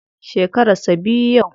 Shekaran sa biyu yau.